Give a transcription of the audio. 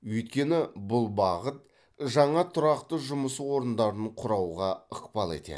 өйткені бұл бағыт жаңа тұрақты жұмыс орындарын құрауға ықпал етеді